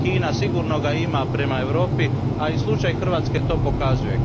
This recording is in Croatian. Kina ga sigurno ima prema Europi, a i slučaj Hrvatske to pokazuje.